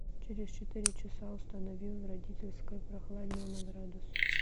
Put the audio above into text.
через четыре часа установи в родительской прохладнее на градус